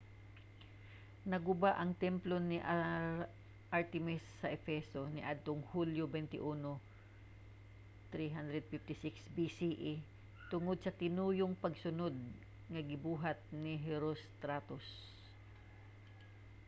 naguba ang templo ni artemis sa efeso niadtong hulyo 21 356 bce tungod sa tinuyong pagsunod nga gibuhat ni herostratus